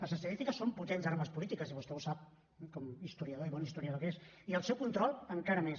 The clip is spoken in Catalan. les estadístiques són potents armes polítiques i vostè ho sap com a historiador i bon historiador que és i el seu control encara més